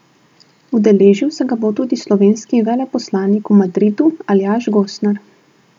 Udeležil se ga bo tudi slovenski veleposlanik v Madridu Aljaž Gosnar.